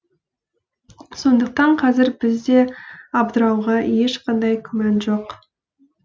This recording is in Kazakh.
сондықтан қазір бізде абдырауға ешқандай күмән жоқ